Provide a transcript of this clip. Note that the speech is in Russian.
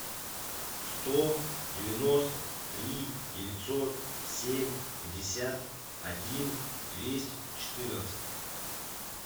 сто девяносто три девятьсот семь пятьдесят один двести четырнадцать